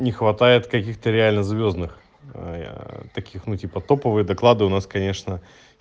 не хватает каких-то реально звёздных таких ну типа топовые доклады у нас конечно